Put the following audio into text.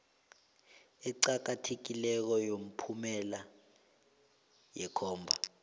eqakathekileko yomphumela yekhomba